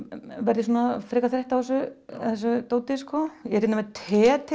verð ég svona frekar þreytt á þessu dóti ég er hérna með te til